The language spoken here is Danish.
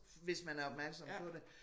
Hvis man er opmærksom på det